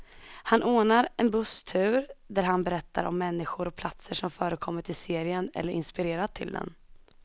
Han ordnar en busstur där han berättar om människor och platser som förekommit i serien, eller inspirerat till den.